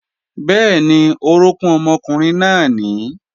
Bẹ́ẹ̀ni, orókún ọmọkùnrin náà nìí